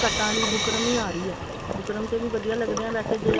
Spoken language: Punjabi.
ਕਟਾਂ ਆਲੀ ਬੂਕਰਮ ਹੀ ਆ ਰਹੀ ਹੈ ਬੂਕਰਮ ਤੇ ਵੀ ਵਧੀਆਂ ਲੱਗਦੇ ਨੇ ਵੈਸੇ